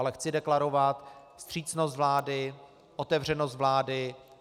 Ale chci deklarovat vstřícnost vlády, otevřenost vlády.